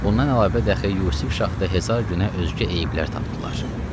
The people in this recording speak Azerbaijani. Bundan əlavə Dəxi Yusuf Şahda Hezar günə özgə eyblər tapdılar.